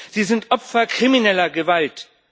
Sie sind Opfer krimineller Gewalt.